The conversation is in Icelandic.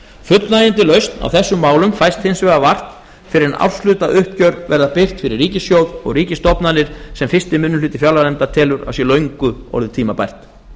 fullnægjandi lausn á þessum málum fæst hins vegar vart fyrr en árshlutauppgjör verða birt fyrir ríkissjóð og ríkisstofnanir sem fyrsti minnihluti fjárlaganefndar telur að sé löngu orðið tímabært